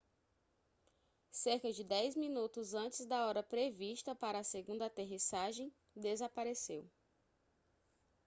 cerca de dez minutos antes da hora prevista para a segunda aterrissagem desapareceu